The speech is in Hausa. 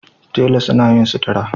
Tela suna yin sutura